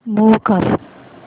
move कर